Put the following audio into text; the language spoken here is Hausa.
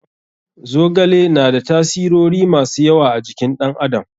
Zogale na da tasirori masu yawa a jikin ɗan adam.